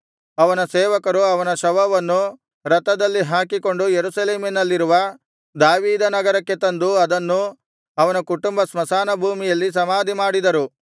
ಅವನ ಸೇವಕರು ಅವನ ಶವವನ್ನು ರಥದಲ್ಲಿ ಹಾಕಿಕೊಂಡು ಯೆರೂಸಲೇಮಿನಲ್ಲಿರುವ ದಾವೀದ ನಗರಕ್ಕೆ ತಂದು ಅದನ್ನು ಅವನ ಕುಟುಂಬದ ಸ್ಮಶಾನಭೂಮಿಯಲ್ಲಿ ಸಮಾಧಿಮಾಡಿದರು